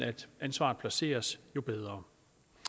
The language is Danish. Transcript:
ansvaret placeres jo bedre